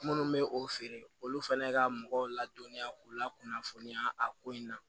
Minnu bɛ o feere olu fana ka mɔgɔw ladɔnniya u la kunnafoniya a ko in na